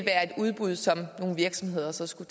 udbud som nogle virksomheder så skal